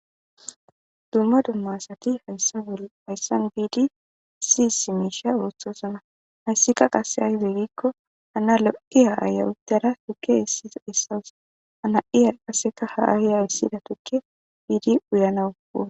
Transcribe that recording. Dumma dumma asati hayssa hayssan biidii issi issi miishsha ooththosana hayssika qasse aybe gikko hana lo'iya aya uuttadda tuukke eessawus ha na'iya qaseka ha ayiya eesssida tuukke biidii uyyanawu